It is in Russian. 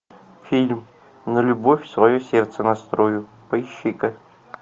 фильм на любовь свое сердце настрою поищи ка